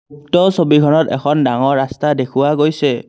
উক্ত ছবিখনত এখন ডাঙৰ ৰাস্তা দেখুওৱা গৈছে।